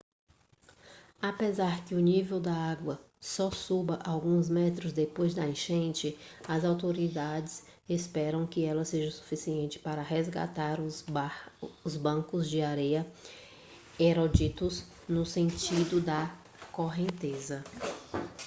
apesar que o nível da água só suba alguns metros depois da enchente as autoridades esperam que ela seja suficiente para resgatar os bancos de areia erodidos no sentido da correnteza